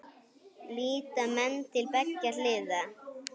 Líta menn til beggja hliða?